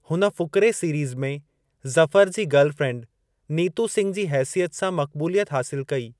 हुन फ़ूकिरे सीरीज़ में ज़फ़र जी गर्ल फ़्रेंड नीतू सिघ जी हेसियत सां मक़बूलियत हासिलु कई।